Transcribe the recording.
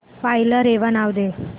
file ला रेवा नाव दे